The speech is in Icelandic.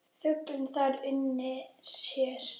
Fuglinn þar unir sér.